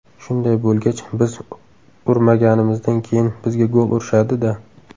Shunday bo‘lgach, biz urmaganimizdan keyin, bizga gol urishadi-da.